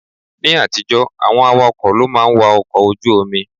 Ní àtijọ́, àwọn awakọ̀ ló máa ń wa ọkọ̀ ojú omi.